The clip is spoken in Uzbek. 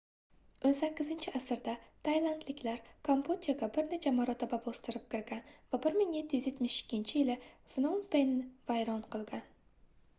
18-asrda taylandliklar kambodjaga bir necha marotaba bostirib kirgan va 1772-yil pnom fenni vayron qilgan